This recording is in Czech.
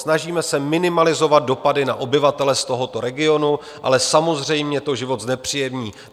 Snažíme se minimalizovat dopady na obyvatele z tohoto regionu, ale samozřejmě to život znepříjemní.